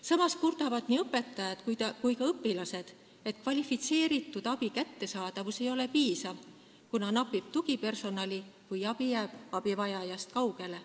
Samas kurdavad nii õpetajad kui ka õpilased, et kvalifitseeritud abi kättesaadavus ei ole piisav, kuna tugipersonali napib, kui abi jääb abivajajast kaugele.